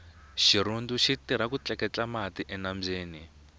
xirhundu xitirha ku tleketla mati enambyeni